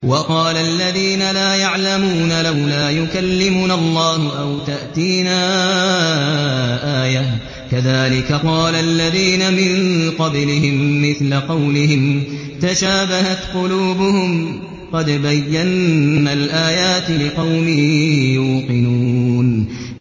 وَقَالَ الَّذِينَ لَا يَعْلَمُونَ لَوْلَا يُكَلِّمُنَا اللَّهُ أَوْ تَأْتِينَا آيَةٌ ۗ كَذَٰلِكَ قَالَ الَّذِينَ مِن قَبْلِهِم مِّثْلَ قَوْلِهِمْ ۘ تَشَابَهَتْ قُلُوبُهُمْ ۗ قَدْ بَيَّنَّا الْآيَاتِ لِقَوْمٍ يُوقِنُونَ